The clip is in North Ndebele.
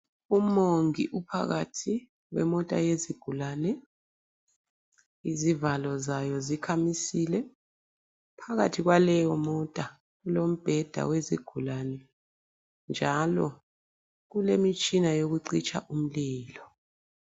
Umongi uphakathi kwemota yezigulane, izivalo zayo zikhamisile. Phakathi kwaleyo mota, kulombheda wezigulane njalo kulemitshina yokucitsha umlilo.